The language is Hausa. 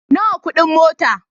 Nawa kudin mota?